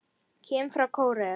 Kim frá Kóreu